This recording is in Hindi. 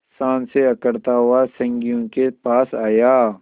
शान से अकड़ता हुआ संगियों के पास आया